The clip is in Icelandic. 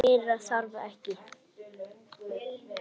Meira þarf ekki.